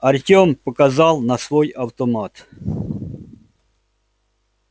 артём показал на свой автомат